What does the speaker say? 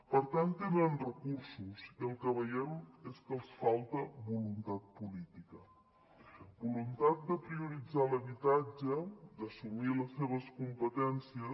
per tant tenen recursos i el que veiem és que els falta voluntat política voluntat de prioritzar l’habitatge d’assumir les seves competències